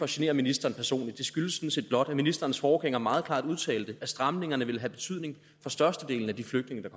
genere ministeren personligt det skyldes sådan set blot at ministerens forgænger meget klart har udtalt at stramningerne vil have betydning for størstedelen af de flygtninge der